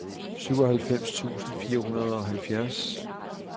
syvoghalvfems tusind fire hundrede og halvfjerds